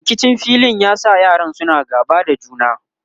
rikicin filin ya sa yaran suna gaba da juna